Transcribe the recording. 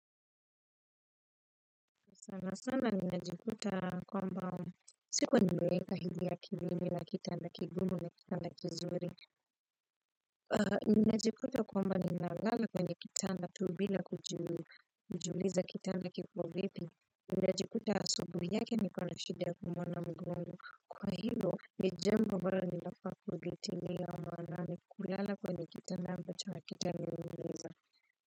Sana sana ninajikuta kwamba, siku ninaweka hindi ya kilini na kitanda kigumu na kitanda kizuri. Ninajikuta kwamba ninalala kwenye kitanda tu bila kujiuliza kitanda kipo vipi, ninajikuta asubuhi yake ni kuona shida kuamka mgongo, kwa hilo ni jambo ambalo ni lazima kulizingatia maana ni kulala kwenye kitanda ambacho hakitoshi.